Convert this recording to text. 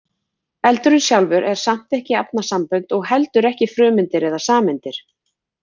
Eldurinn sjálfur er samt ekki efnasambönd og heldur ekki frumeindir eða sameindir.